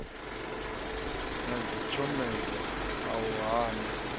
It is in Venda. na dzitshomedzo a u hana